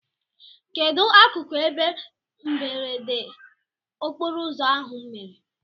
Kedụ akụkụ ebe mberede okporoụzọ ahụ mere?